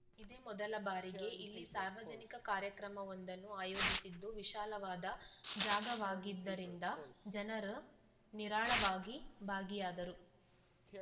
ಇದೇ ಮೊದಲ ಬಾರಿಗೆ ಇಲ್ಲಿ ಸಾರ್ವಜನಿಕ ಕಾರ್ಯಕ್ರಮವೊಂದನ್ನು ಆಯೋಜಿಸಿದ್ದು ವಿಶಾಲವಾದ ಜಾಗವಾಗಿದ್ದರಿಂದ ಜನರು ನಿರಾಳವಾಗಿ ಭಾಗಿಯಾದರು